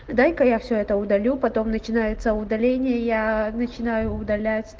дай-ка я всё это удалю потом начинается удаление я начинаю удалять